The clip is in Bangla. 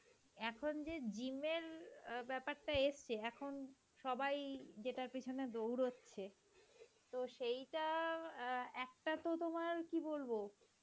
এখন যে gym এর ব্যাপারটা এসছে এখন সবাই যেটার পিছনে দৌড়াচ্ছে তো সেইটা অ্যাঁ একটা তো তোমার কি বলব,